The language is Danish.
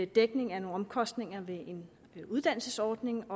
dækning af nogle omkostninger ved en uddannelsesordning